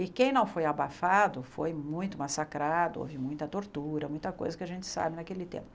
E quem não foi abafado foi muito massacrado, houve muita tortura, muita coisa que a gente sabe naquele tempo.